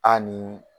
A ni